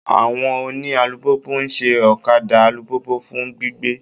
Àwọn oni àlupupu nṣẹ okạdạ àlupupu fun gbigbe.